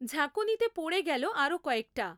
ঝাঁকুনিতে পড়ে গেল আরও কয়েকটা।